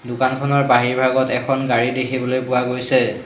দোকানখনৰ বাহিৰভাগত এখন গাড়ী দেখিবলৈ পোৱা গৈছে।